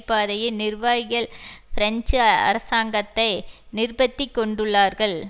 பாதையின் நிர்வாகிகள் பிரெஞ்சு அரசாங்கத்தை நிர்பத்திக் கொண்டுள்ளார்கள்